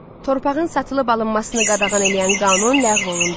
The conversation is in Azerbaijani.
Torpağın satılıb alınmasını qadağan eləyən qanun ləğv olundu.